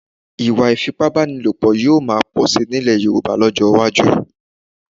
Ìwà ìfipábánilòpọ̀ yóò máa pọ̀ síi nílẹ̀ Yorùbá lọ́jọ́ iwájú